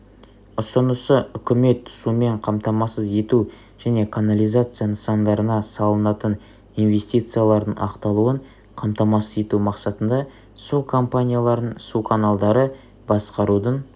ұсынысы үкімет сумен қамтамасыз ету және канализация нысандарына салынатын инвестициялардың ақталуын қамтамасыз ету мақсатында су компанияларын суканалдары басқарудың